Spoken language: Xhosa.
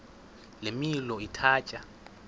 le milo ithatya